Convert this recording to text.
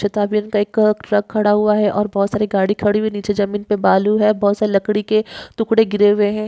तथा भी एक ट्रक खड़ा हुआ है और बहुत सारे गाड़ी खड़ी हुई नीचे जमीन पे बहुत सारे बालू है बहुत सारे लकडी के टुकड़े गिरे हुए है।